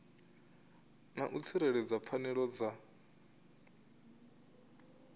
na u tsireledza pfanelo dza